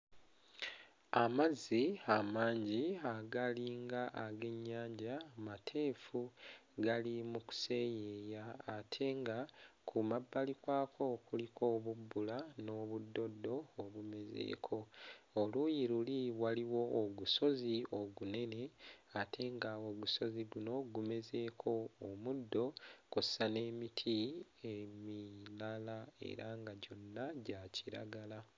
Amazzi amangi agalinga ag'ennyanja mateefu gali mu kuseeyeeya ate nga ku mabbali kwako kuliko obubbula n'obuddoddo obumezeeko, oluuyi luli waliwo ogusozi ogunene ate nga ogusozi guno gumezeeko omuddo kw'ossa n'emiti emirala era nga gyonna gya kiragala